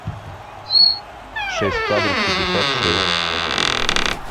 шесть кадров пятьдесят шесть